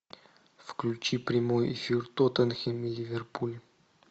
включи прямой эфир тоттенхэм и ливерпуль